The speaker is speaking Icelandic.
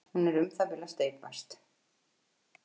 Hún er um það bil að steypast.